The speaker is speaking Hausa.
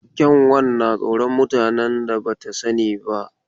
Kyanwar na tsoron mutanen da ba ta sani ba.